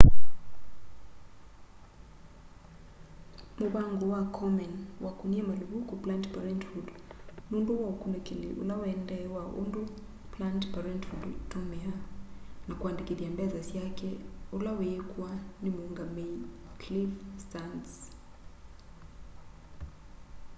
mũvango wa komen wakunie maluvuku planned parenthood nundu wa ukunikili ula wuendeeye wa undũ planned parenthood itumiaa na kũandikithya mbesa syake ula wiikwa ni muungamei cliff stearns